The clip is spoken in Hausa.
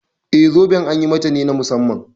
Eh wannan zoben an yi mata ne na musamman.